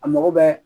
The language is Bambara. A mago bɛ